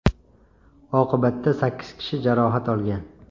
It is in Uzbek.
Oqibatda sakkiz kishi jarohat olgan.